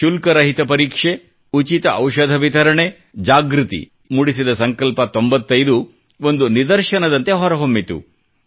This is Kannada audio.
ಶುಲ್ಕರಹಿತ ಪರೀಕ್ಷೆ ಉಚಿತ ಔಷಧಿ ವಿತರಣೆ ಜಾಗೃತಿ ಮೂಡಿಸಿದ ಸಂಕಲ್ಪ 95 ಒಂದು ನಿದರ್ಶನದಂತೆ ಹೊರ ಹೊಮ್ಮಿತು